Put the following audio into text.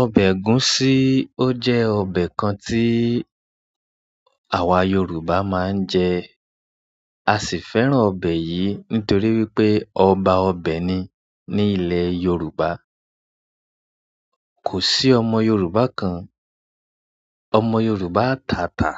Ọbẹ̀ ẹ̀gúsí ó jẹ́ ọbẹ̀ kan tí àwa Yorùbá máa ń jẹ. A sì fẹ́ràn ọbẹ̀ yìí nítorí wípé ọba ọbẹ̀ ni ní ilẹ̀ Yorùbá. Kò sí ọmọ Yorùbá kan, ọmọ Yorùbá atata